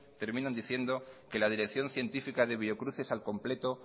terminan diciendo que la dirección científica de biocruces al completo